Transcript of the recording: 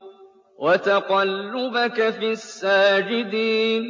وَتَقَلُّبَكَ فِي السَّاجِدِينَ